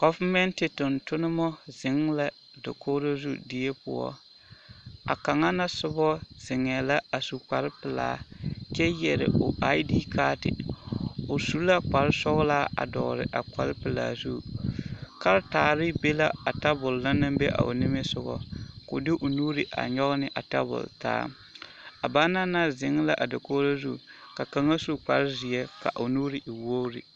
Gɔvemɛnte tontoma zeŋ la dakogiro zu die poɔ a kaŋa na sobɔ zeŋɛɛ la a su kpare pelaa kyɛ yɛre o ID kaate, o su la kpare sɔgelaa a dɔgele a kpare pelaa zu karetaare be la a tabol na naŋ be a o nimisogɔ k'o de o nuuri a nyɔge ne a tabol taa, a banaŋ na zeŋ la a dakogiro ka kaŋa su kpare zeɛ ka o nuuri e wogiri.